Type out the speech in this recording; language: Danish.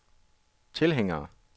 tilhængere